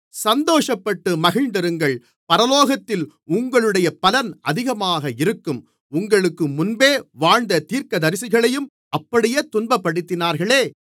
சந்தோஷப்பட்டு மகிழ்ந்திருங்கள் பரலோகத்தில் உங்களுடைய பலன் அதிகமாக இருக்கும் உங்களுக்குமுன்பே வாழ்ந்த தீர்க்கதரிசிகளையும் அப்படியே துன்பப்படுத்தினார்களே